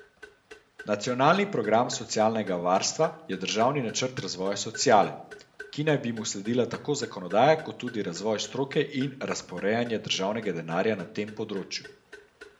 Nacionalni program socialnega varstva je državni načrt razvoja sociale, ki naj bi mu sledila tako zakonodaja kot tudi razvoj stroke in razporejanje državnega denarja na tem področju.